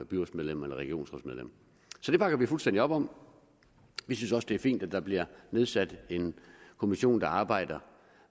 byrådsmedlem eller regionsrådsmedlem så det bakker vi fuldstændig op om vi synes også det er fint at der bliver nedsat en kommission der arbejder